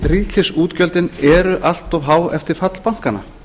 ríkisútgjöldin eru allt há eftir fall bankanna